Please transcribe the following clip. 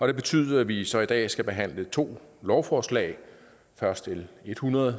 det betyder at vi så i dag skal behandle to lovforslag først l hundrede